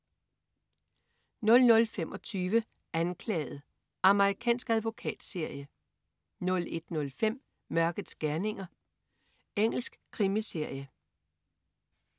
00.25 Anklaget. Amerikansk advokatserie 01.05 Mørkets gerninger. Engelsk krimiserie